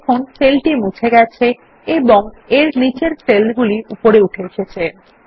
দেখুন সেল টি মুছে গেছে এবং এর নীচের সেল গুলি উপরে উঠে এসেছে